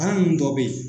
Kan nunnu dɔ be yen